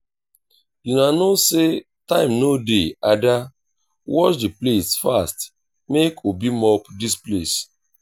una no say time no dey ada wash the plates fast make obi mop dis place